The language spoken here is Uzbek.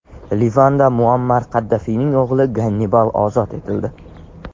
Livanda Muammar Qaddafiyning o‘g‘li Gannibal ozod etildi.